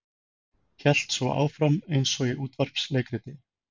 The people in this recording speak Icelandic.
Hélt svo áfram eins og í útvarpsleikriti